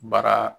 Baara